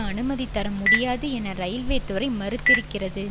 அனுமதிதர முடியாது என ரயில்வே துறை மறுத்திருக்கிறது